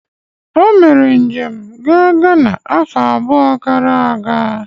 Omere njem gaa Ghana afọ abụọ gara aga